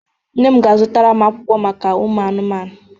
Nne m ga-azụtara m akwụkwọ akụkọ maka ụmụanụmanụ.